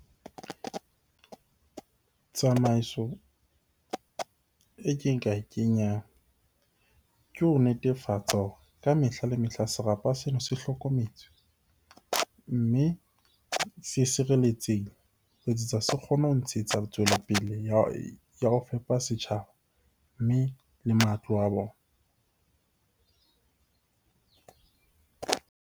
Tsamaiso e ke nka e kenyang ke ho netefatsa hore ka mehla le mehla serapa sena se hlokometswe, mme se sireletsehile ho etsetsa se kgone ho ntshetsa tswelopele ya ho fepa setjhaba, mme le matlo a bona.